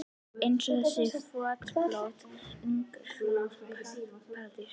Eins og þessi loftbóla Ungfrú Paradís.